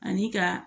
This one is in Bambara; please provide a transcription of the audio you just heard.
Ani ka